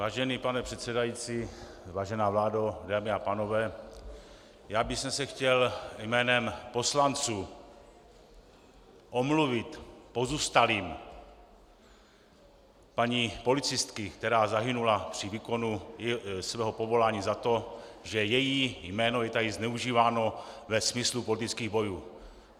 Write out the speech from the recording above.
Vážený pane předsedající, vážená vládo, dámy a pánové, já bych se chtěl jménem poslanců omluvit pozůstalým paní policistky, která zahynula při výkonu svého povolání, za to, že její jméno je tady zneužíváno ve smyslu politických bojů.